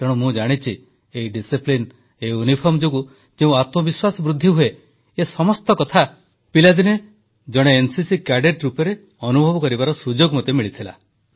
ତେଣୁ ମୁଁ ଜାଣିଛି ଏଇ ଶୃଙ୍ଖଳା ଏଇ ୟୁନିଫର୍ମ ଯୋଗୁଁ ଯେଉଁ ଆତ୍ମବିଶ୍ୱାସ ବୃଦ୍ଧି ହୁଏ ଏ ସମସ୍ତ କଥା ପିଲାଦିନେ ଜଣେ ଏନସିସି କ୍ୟାଡେଟ୍ ରୂପରେ ଅନୁଭବ କରିବାର ସୁଯୋଗ ମୋତେ ମିଳିଥିଲା